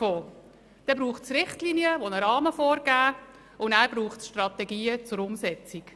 Dann braucht es Richtlinien, die einen Rahmen vorgeben, und nachher braucht es Strategien zur Umsetzung.